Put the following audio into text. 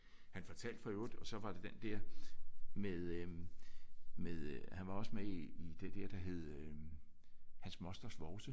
Han fortalte for øvrigt og så var det den der med øh med øh han var også med i det dér der hed øh hans mosters vovse